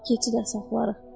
Lap keçi də saxlayarıq.